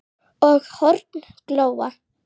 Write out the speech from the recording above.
og horn glóa